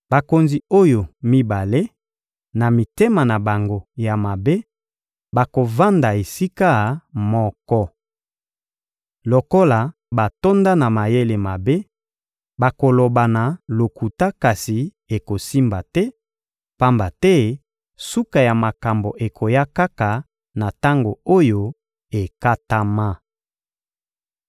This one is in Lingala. Bakonzi oyo mibale, na mitema na bango ya mabe, bakovanda esika moko. Lokola batonda na mayele mabe, bakolobana lokuta kasi ekosimba te, pamba te suka ya makambo ekoya kaka na tango oyo ekatama.